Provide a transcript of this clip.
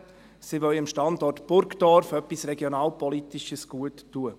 Sie wollen dem Standort Burgdorf etwas Regionalpolitisches gut tun.